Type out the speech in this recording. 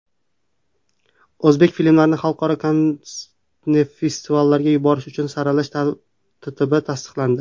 O‘zbek filmlarini xalqaro kinofestivallarga yuborish uchun saralash tartibi tasdiqlandi.